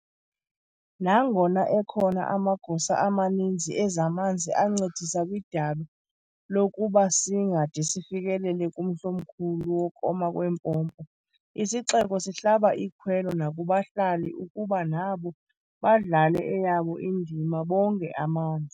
Nangona ekhona amagosa amaninzi ezamanzi ancedisa kwidabi lokuba singade sifikelele kumhl'omkhulu wokoma kweempompo, isixeko sihlaba ikhwelo nakubahlali ukuba nabo badlale eyabo indima, bonge amanzi.